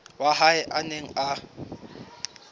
wa hae a neng a